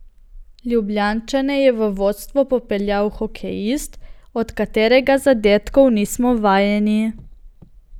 Ljubljančane je v vodstvo popeljal hokejist, od katerega zadetkov nismo vajeni.